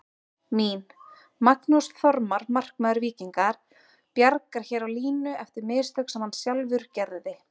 Mín: Magnús Þormar markmaður Víkinga bjargar hér á línu eftir mistök sem hann sjálfur gerði.